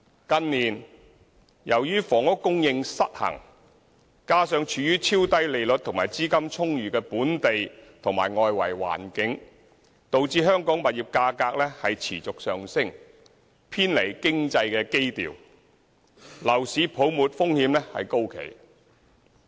近年由於房屋供求失衡，加上處於超低利率和資金充裕的本地和外圍環境，導致香港物業價格持續上升，偏離經濟基調，樓市泡沫風險高企。